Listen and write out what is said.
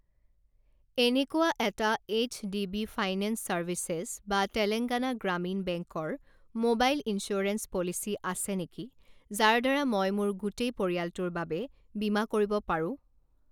এনেকুৱা এটা H D B finance services বা তেলেঙ্গানা গ্ৰামীণ বেংক ৰ মোবাইল ইঞ্চুৰেঞ্চ পলিচী আছে নেকি যাৰ দ্বাৰা মই মোৰ গোটেই পৰিয়ালটোৰ বাবে বীমা কৰিব পাৰোঁ?